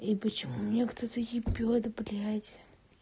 и почему меня кто-то ебет блядь